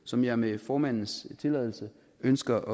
som jeg med formandens tilladelse ønsker